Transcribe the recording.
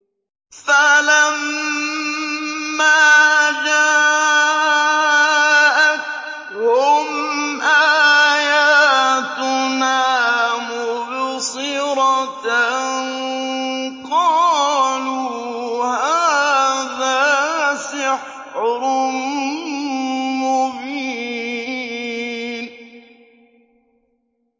فَلَمَّا جَاءَتْهُمْ آيَاتُنَا مُبْصِرَةً قَالُوا هَٰذَا سِحْرٌ مُّبِينٌ